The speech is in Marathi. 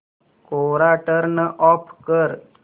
कोरा टर्न ऑफ कर